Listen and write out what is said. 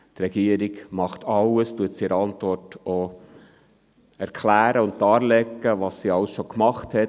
Die Regierung unternimmt alles und legt in ihrer Antwort auch dar, was sie alles schon gemacht hat.